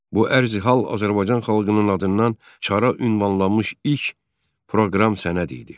Bu ərizə hal Azərbaycan xalqının adından çara ünvanlanmış ilk proqram sənədi idi.